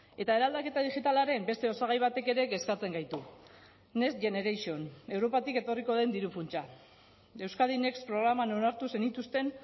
eta eraldaketa digitalaren beste osagai batek ere kezkatzen gaitu next generation europatik etorriko den diru funtsa euskadi next programan onartu zenituzten